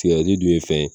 Sigɛrɛti dun ye fɛn ye